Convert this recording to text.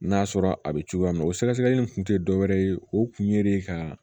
N'a sɔrɔ a bɛ cogoya min na o sɛgɛsɛgɛli in kun tɛ dɔwɛrɛ ye o kun ye de ka